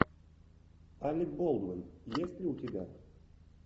алек болдуин есть ли у тебя